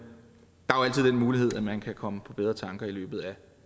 mulighed at man kan komme på bedre tanker i løbet af